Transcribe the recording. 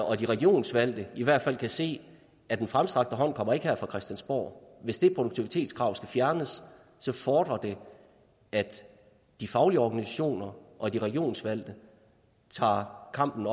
og de regionsvalgte i hvert fald kan se at den fremstrakte hånd ikke kommer her fra christiansborg hvis det produktivitetskrav skal fjernes fordrer det at de faglige organisationer og de regionsvalgte tager kampen